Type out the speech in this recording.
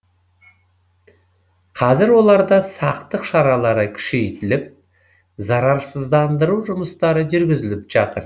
қазір оларда сақтық шаралары күшейтіліп зарарсыздандыру жұмыстары жүргізіліп жатыр